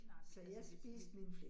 Nej, altså man spiser